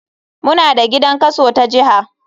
Muna da gidan kaso ta jiha.